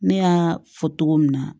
Ne y'a fɔ cogo min na